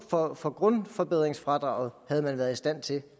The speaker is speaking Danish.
for for grundforbedringsfradraget havde man været i stand til